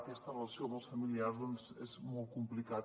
aquesta relació amb els familiars doncs és molt complicat